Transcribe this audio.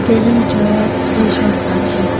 Table chair এসব আছে।